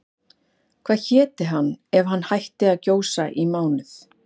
Hvað héti hann ef hann hætti að gjósa í mánuð?